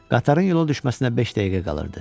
Qatarın yola düşməsinə beş dəqiqə qalırdı.